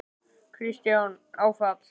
Kristján: Áfall?